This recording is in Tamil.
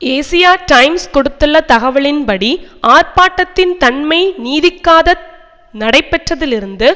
ஏசியா டைம்ஸ் கொடுத்துள்ள தகவலின்படி ஆர்ப்பாட்டத்தின் தன்மை நீதிக்காக நடைபெற்றதிலிருந்து